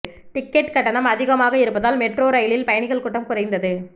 ticket கட்டணம் அதிகமாக இருப்பதால் மெட்ரோ ரயிலில் பயணிகள் கூட்டம் குறைந்தது